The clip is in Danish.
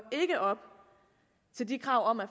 op til de krav om at